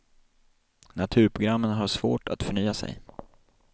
Naturprogrammen har svårt att förnya sig.